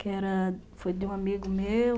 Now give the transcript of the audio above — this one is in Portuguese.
Que era... foi de um amigo meu.